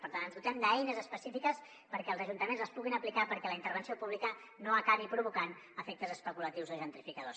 per tant ens dotem d’eines específiques perquè els ajuntaments les puguin aplicar perquè la intervenció pública no acabi provocant efectes especulatius o gentrificadors